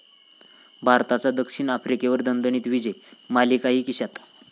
भारताचा द.आफ्रिकेवर दणदणीत विजय, मालिकाही खिश्यात